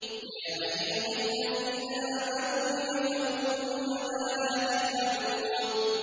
يَا أَيُّهَا الَّذِينَ آمَنُوا لِمَ تَقُولُونَ مَا لَا تَفْعَلُونَ